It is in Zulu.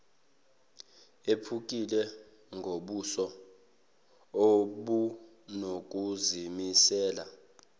ephukile ngobuso obunokuzimisela